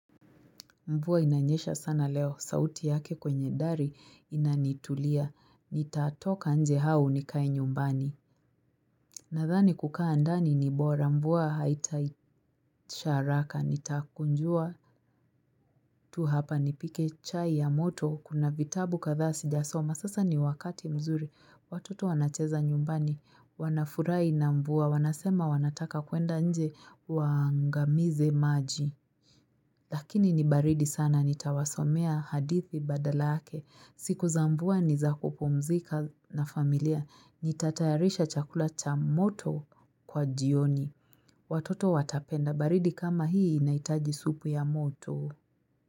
Mvua inanyesha sana leo. Sauti yake kwenye dari inanitulia. Nitatoka nje au nikae nyumbani. Nadhani kukaa ndani ni bora. Mvua haitai isha haraka. Nitakunjua tu hapa. Nipike chai ya moto. Kuna vitabu kadhaa sijasoma. Sasa ni wakati mzuri. Watoto wanacheza nyumbani. Wanafurahi na mvua. Wanasema wanataka kwenda nje. Wa agamize maji. Lakini ni baridi sana nitawasomea hadithi badala yake. Siku za Mvua nizakupumzika na familia. Nitatayarisha chakula cha moto kwa jioni. Watoto watapenda. Baridi kama hii inahitaji supu ya moto.